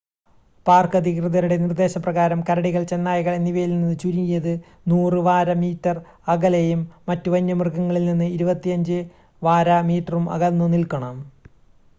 Park അധികൃതരുടെ നിർദ്ദേശ പ്രകാരം കരടികൾ ചെന്നായകൾ എന്നിവയിൽനിന്ന് ചുരുങ്ങിയത് 100 വാര/മീറ്റർ അകലെയും മറ്റു വന്യമൃഗങ്ങളിൽനിന്ന് 25 വാര/മീറ്ററും അകന്നു നിൽക്കണം!